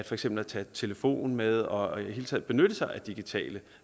for eksempel at tage telefon med og i det hele taget benytte sig af digitale